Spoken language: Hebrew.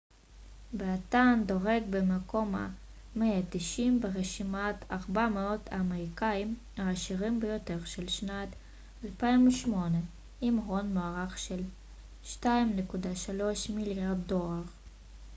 באתן דורג במקום ה-190 ברשימת 400 האמריקאיים העשירים ביותר של שנת 2008 עם הון מוערך של 2.3 מיליארד דולר